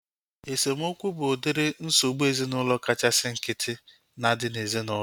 Esemokwu bụ udiri nsogbu ezinaụlọ kachasị nkịtị na ndị ezinaụlọ